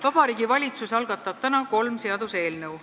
Vabariigi Valitsus algatab täna kolm seaduseelnõu.